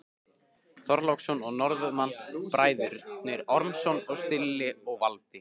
Þorláksson og Norðmann, Bræðurnir Ormsson, Silli og Valdi.